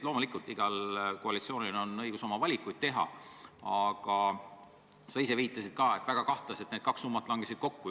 Loomulikult, igal koalitsioonil on õigus oma valikuid teha, aga sa ise viitasid ka, et väga kahtlaselt langesid need kaks summat kokku.